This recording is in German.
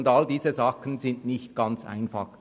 Solche und ähnliche Umstände sind nicht ganz einfach.